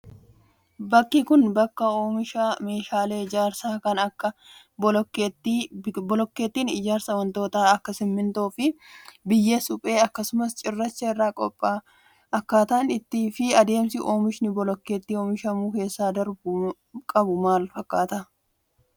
Bakki kun, bakka oomisha meeshaalee ijaarsaa kan akka bilokkeettiiti. Bilokkeettiin ijaarsaa wantoota akka simiintoo fi biyyee suphee akkasumas cirracha irraa qopha'a. Akkaataan fi adeemsi oomishni bolokkeettii oomishamuuf keessa darbuu qabu maal fakkaata?